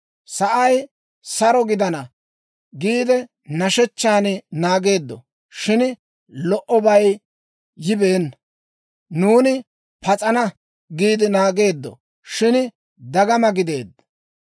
‹Sa'ay saro gidana› giide nashshechchan naageeddo; shin lo"obay yibeenna. ‹Nuuni pas'ana› giide naageeddo; shin dagama gideedda.